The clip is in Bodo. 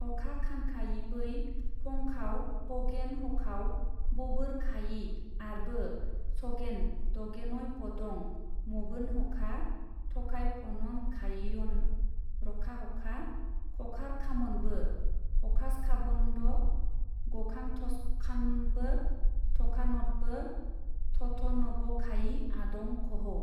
अखखानखायिबै फंखाव पगेन हखाव बबोरखायि आरबो सगेन दगेनयपदं मबोनहखा- थखायफननखायियन रखाहखा खखारखामनबो हखासखाबन्द गखानथसखानबो थखानथबो थथनबखायि आदं खहौ।